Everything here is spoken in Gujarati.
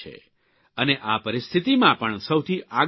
અને આ પરિસ્થિતિમાં પણ સૌથી આગળ ઉભા છે